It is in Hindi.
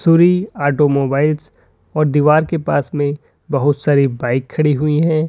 सूरी ऑटोमोबाइल्स और दीवार के पास में बहुत सारी बाइक खड़ी हुई है।